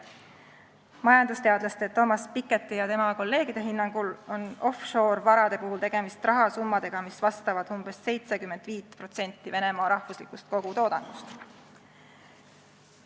Majandusteadlase Thomas Piketty ja tema kolleegide hinnangul on offshore-varade puhul tegemist rahasummadega, mis vastavad umbes 75%-le Venemaa rahvuslikust kogutoodangust.